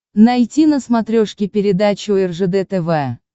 найти на смотрешке передачу ржд тв